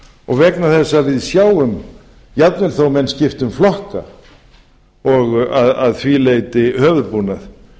og vegna þess að við sjáum jafnvel þó að menn skipti um flokka og að því leyti höfuðbúnað